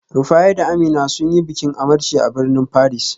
Rufaye da Amina sun yi bikin amarci a birnin Paris